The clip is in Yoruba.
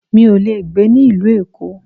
Mi ò le gbé ní ìlú Èkó.